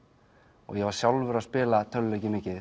og var sjálfur að spila tölvuleiki mikið